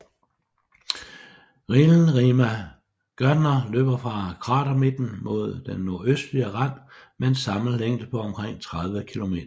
Rillen Rima Gärtner løber fra kratermidten mod den nordøstlige rand med en samlet længde på omkring 30 kilometer